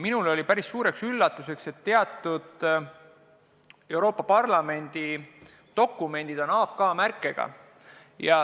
Minule oli päris suureks üllatuseks, et teatud Euroopa Parlamendi dokumendid on AK märkega.